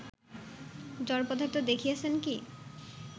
জড়পদার্থ দেখিয়াছেন কি